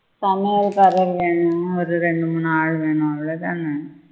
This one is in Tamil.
சமையல்காரர் வெனும் ஒரு ரெண்டு மூணு ஆள் வெனும் அவ்வளவு தானே